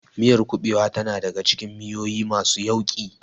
Miyar kuɓewa tana daka cikin miyoyi masu yauƙi.